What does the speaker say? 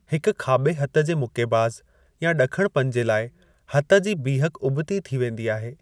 हिकु खाबे॒ हथु जे मुक्केबाज़ या ड॒खणपंजे लाइ, हथ जी बीहक उबि॒ती थी वेंदी आहे।